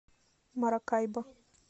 маракайбо